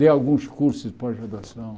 Dei alguns cursos de pós-graduação.